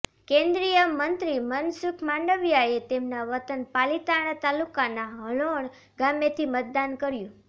કેન્દ્રીય મંત્રી મનસુખ માંડવીયાએ તેમના વતન પાલીતાણા તાલુકાના હણોલ ગામેથી મતદાન કર્યું